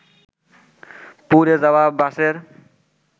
পুড়ে যাওয়া বাসের